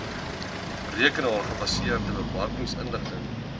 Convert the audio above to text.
rekenaar gebaseerde bemarkingsinligting